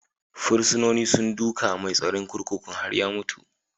Fursunonin sun duka mai tsaron kurkukun har ya mutu.